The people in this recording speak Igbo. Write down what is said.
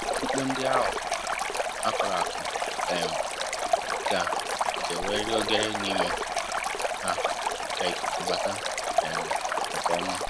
Mkpu ndi ahu a kọrọ akọ um ga ga enwerir oghere n'ime ha ka ikuku bata um nkè ọma